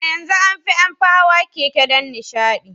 A yanzu an fi an fi hawa keke don nishaɗi.